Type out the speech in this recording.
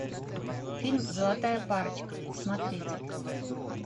фильм золотая парочка смотреть